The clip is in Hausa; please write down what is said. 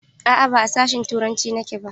A'a, ba a sashin turanci nake ba.